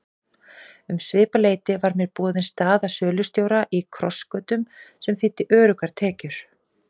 Um svipað leyti var mér boðin staða sölustjóra í Krossgötum sem þýddi öruggar tekjur.